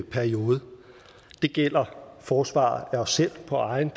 periode det gælder forsvar af os selv på eget